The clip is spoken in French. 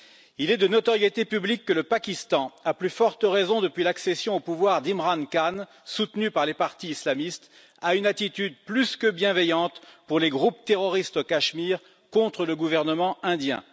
Il est de notoriété publique que le Pakistan, à plus forte raison depuis l'accession au pouvoir d'Imran Khan, soutenu par les partis islamistes, a une attitude plus que bienveillante pour les groupes terroristes au Cachemire, contre le gouvernement indien.